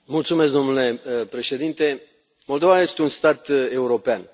Mulțumesc, domnule președinte, Moldova este un stat european.